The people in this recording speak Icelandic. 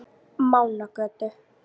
Mánagötu